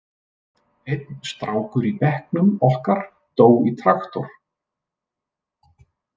Einn strákur í bekknum okkar dó í traktor.